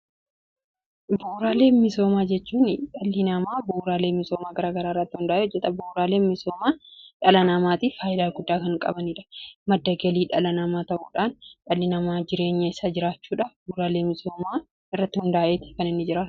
Bu'uuraalee misoomaa jechuun dhalli namaa bu'uuraalee misoomaa garaagara irratti hundaa'e hojjeta. Buuraalee misoomaa dhala namaatiif faayidaa guddaa kan qabaniidha. Madda galii dhala namaa ta'uudhaan dhalli namaa jireenya isa jiraachuudhaaf buuraalee misoomaa irratti hundaa'eetti kan inni jiraratu.